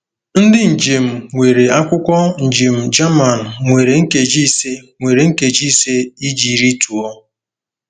Ndị njem nwere akwụkwọ njem German nwere nkeji ise nwere nkeji ise iji rịtuo.